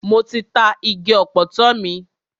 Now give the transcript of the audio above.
Mo ti ta igi ọ̀pọ̀tọ́ mi.